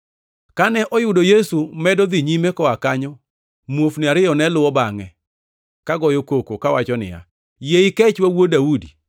Kane oyudo Yesu medo dhi nyime koa kanyo, muofni ariyo ne luwo bangʼe, ka goyo koko kawacho niya, “Yie ikechwa wuod Daudi!”